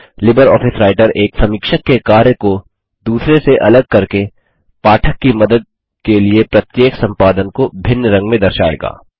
LibreOffice Writer एक समीक्षक के कार्य को दूसरे से अलग करके पाठक की मदद के लिए प्रत्येक संपादन को भिन्न रंग में दर्शाएगा